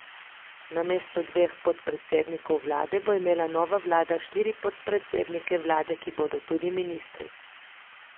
Namesto dveh podpredsednikov vlade bo imela nova vlada štiri podpredsednike vlade, ki bodo tudi ministri.